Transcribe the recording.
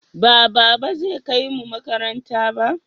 Ba baba zai kaimu makaranta ba?